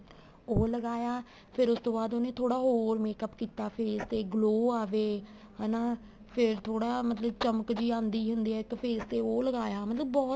ਉਹ ਲਗਾਇਆ ਫ਼ੇਰ ਉਸ ਬਾਅਦ ਉਹਨੇ ਥੋੜਾ ਹੋਰ makeup ਕੀਤਾ face ਤੇ glow ਆਵੇ ਹੈਨਾ ਫ਼ੇਰ ਥੋੜਾ ਮਤਲਬ ਕੀ ਚਮਕ ਜੀ ਆਦੀ ਹੁੰਦੀ ਏ ਇੱਕ face ਤੇ ਉਹ ਲਗਾਇਆ ਮਤਲਬ ਬਹੁਤ